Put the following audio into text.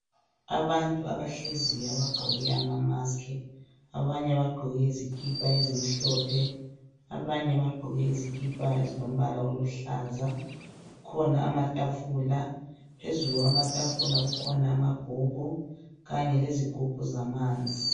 Abantu abahleziyo abagqoke amamask abanye bagqoke izikipa ezimhlophe, abanye bagqoke izikipa ezilombala oluhlaza. Kukhona amatafula phezulu kwamatafula kukhona amabhuku kanye lezigubhu zamanzi.